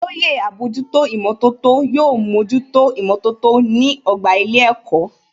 Olóyè àbójútó ìmọ̀tótó yóò mójútó ìmọ̀tótó ní ọgbà ilé ẹ̀kọ́